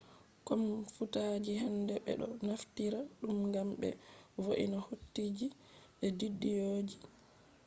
komfutaji hande be do naftira dum gam be vo’ina hotoji be bidiyoji